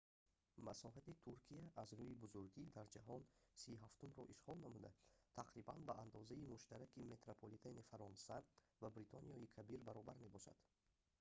масоҳати туркия аз рӯи бузургӣ дар ҷаҳон 37-умро ишғол намуда тақрибан ба андозаи муштараки метрополитени фаронса ва бритониёи кабир баробар мебошад